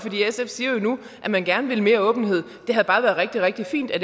sf siger jo nu at man gerne vil mere åbenhed det havde bare været rigtig rigtig fint at